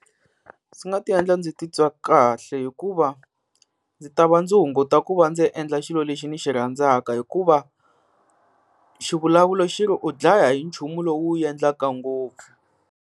Swi nga ta endla ndzi titwa kahle hikuva ndzi ta va ndzi hunguta ku va ndzi endla xilo lexi ni xi rhandzaka, hikuva xivulavulo xi ri u dlaya hi nchumu lowu endlaka ngopfu.